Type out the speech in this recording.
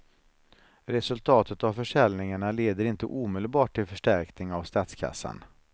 Resultatet av försäljningarna leder inte omedelbart till förstärkning av statskassan.